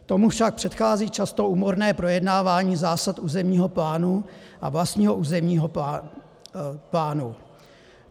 Tomu však předchází často úmorné projednávání zásad územního plánu a vlastního územního plánu.